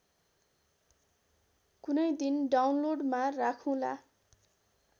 कुनैदिन डाउनलोडमा राखुँला